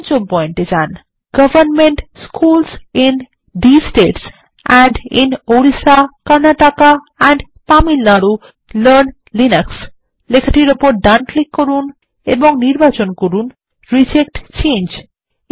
পঞ্চম পয়েন্ট এ যান এবং government schools in these states and in Orissa Karnataka and Tamil Nadu learn Linux লেখাটির ওপর ডান ক্লিক করুন এবং নির্বাচন করুন রিজেক্ট চেঞ্জ